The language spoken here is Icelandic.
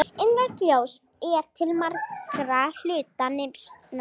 Innrautt ljós er til margra hluta nytsamlegt.